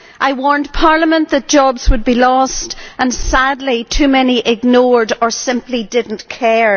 I warned Parliament that jobs would be lost and, sadly, too many ignored this or simply did not care.